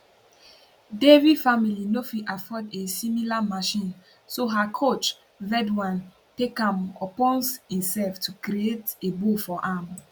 devi family no fit afford a similar machine so her coach vedwan take am upons imsef to create a bow for am